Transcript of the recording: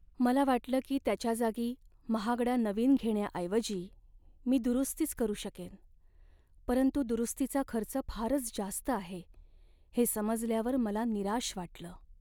मला वाटलं की त्याच्या जागी महागडा नवीन घेण्याऐवजी मी दुरुस्तीच करू शकेन, परंतु दुरुस्तीचा खर्च फारच जास्त आहे हे समजल्यावर मला निराश वाटलं.